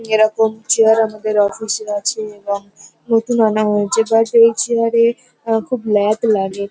এরকম চেয়ার আমাদের অফিস -এ আছে এবং নতুন আনা হয়েছে। বাট ওই চেয়ার-এ আমার খুব ল্যাদ লাগে।